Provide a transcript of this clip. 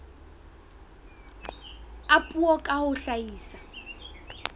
a puo ka ho hlahisa